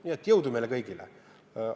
Nii et jõudu meile kõigile!